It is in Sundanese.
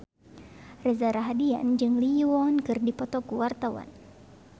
Reza Rahardian jeung Lee Yo Won keur dipoto ku wartawan